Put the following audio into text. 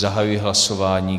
Zahajuji hlasování.